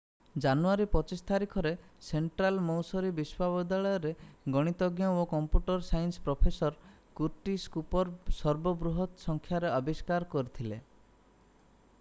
ଜାନୁୟାରୀ 25 ତାରିଖରେ Central Missouri ବିଶ୍ୱବିଦ୍ୟାଳୟର ଗଣିତଜ୍ଞ ଓ computer science professor Curtis Cooper ସର୍ବ ବୃହତ ସଂଖ୍ୟାର ଆବିଷ୍କାର କରିଥିଲେ